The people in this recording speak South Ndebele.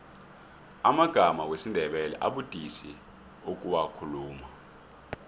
amagama wesindebele abudisi ukuwakhuluma